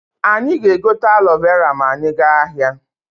Anyị ga-egote alo vera ma anyị gaa ahịa.